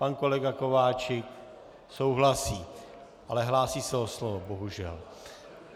Pan kolega Kováčik souhlasí, ale hlásí se o slovo - bohužel.